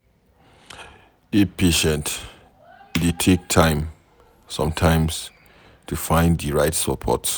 Dey patient e dey take time sometimes to find di right support